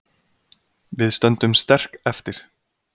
Við stöndum sterk eftir